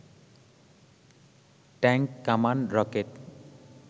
tank, কামান, rocket